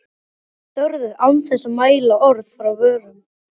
Þau störðu án þess að mæla orð frá vörum.